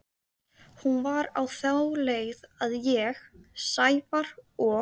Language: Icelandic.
Hún var á þá leið að ég, Sævar og